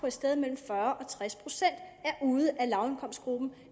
et sted mellem fyrre og tres procent ude af lavindkomstgruppen